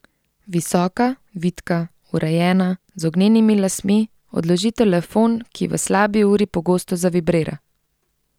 Visoka, vitka, urejena, z ognjenimi lasmi, odloži telefon, ki v slabi uri zelo pogosto zavibrira.